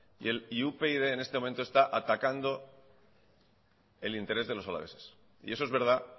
y upyd en este momento está atacando el interés de los alaveses y eso es verdad